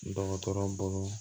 Dɔgɔtɔrɔ bolo